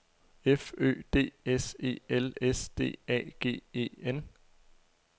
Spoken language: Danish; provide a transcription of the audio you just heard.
F Ø D S E L S D A G E N